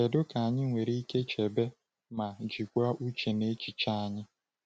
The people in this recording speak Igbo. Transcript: Kedu ka anyị nwere ike chebe ma jikwaa uche na echiche anyị?